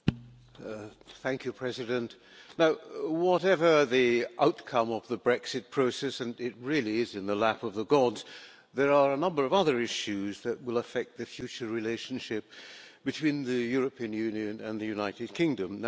Madam President, whatever the outcome of the Brexit process and it really is in the lap of the gods there are a number of other issues that will affect the future relationship between the European Union and the United Kingdom.